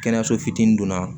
Kɛnɛyaso fitinin dunna